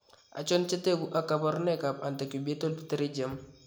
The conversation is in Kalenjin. Achon chetogu ak kaborunoik ab Antecubital pterygium